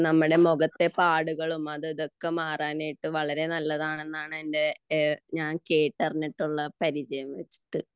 നമ്മുടെ മുഖത്തെ പാടുകളും അതും ഇതും ഒക്കെ മാറാൻ നല്ലതാണെന്നു ആണ് ഞാൻ കേട്ടറിഞ്ഞിട്ടുള്ള പരിചയം വച്ചിട്ട്